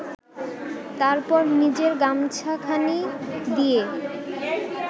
তারপর নিজের গামছাখানি দিয়ে